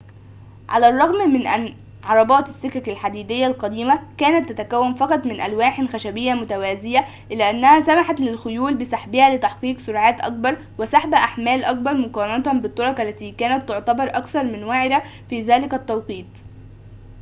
على الرغم من أن عربات السكك الحديدية القديمة كانت تتكون فقط من ألواحٍ خشبيةٍ متوازيةٍ إلا أنها سمحت للخيول بسحبها لتحقيق سرعاتٍ أكبر وسحب أحمالٍ أكبر مقارنة بالطرق التي كانت تعتبر أكثر من وعرةٍ في ذلك التوقيت